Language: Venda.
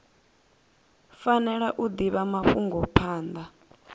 fanela u divha mafhungo phanda